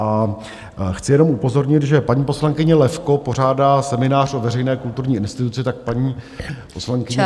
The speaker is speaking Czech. A chci jenom upozornit, že paní poslankyně Levko pořádá seminář o veřejné kulturní instituci, tak paní poslankyně... ...